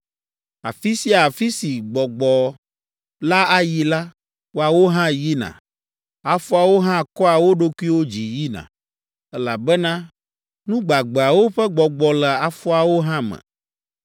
Afi sia afi si gbɔgbɔ la ayi la, woawo hã yina, afɔawo hã kɔa wo ɖokuiwo dzi yina, elabena nu gbagbeawo ƒe gbɔgbɔ le afɔawo hã me.